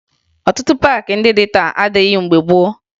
Ọtụtụ paakị ndị dị taa adịghị mgbe gboo